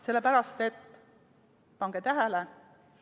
Sellepärast et – pange tähele!